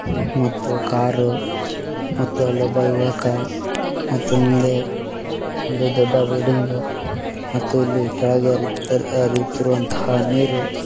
ಮತ್ತು ಕಾರು ಮತ್ತು ಅಲ್ಲೊಬ್ಬ ಯುವಕ ಮತ್ತು ಮುಂದೆ ಒಂದು ದೊಡ್ಡ ಬಿಲ್ಡಿಂಗ್ ಮತ್ತೆ ಇಲ್ಲಿ ಕೆಳಗೆ ಹರಿತ್ತರ್ ಹರಿಯುತ್ತಿರುವಂತಹ ನೀರು --